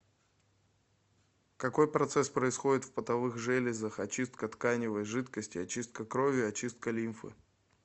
какой процесс происходит в потовых железах очистка тканевой жидкости очистка крови очистка лимфы